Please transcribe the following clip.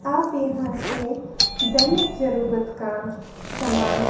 आप यहां से दैनिक जरुरत का सामान--